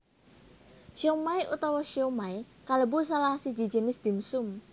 Siomai utawa siomay kalebu salah siji jinis dim sum